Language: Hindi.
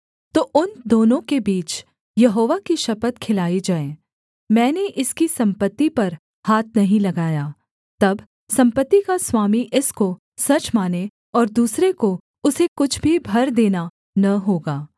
तो उन दोनों के बीच यहोवा की शपथ खिलाई जाए मैंने इसकी सम्पत्ति पर हाथ नहीं लगाया तब सम्पत्ति का स्वामी इसको सच माने और दूसरे को उसे कुछ भी भर देना न होगा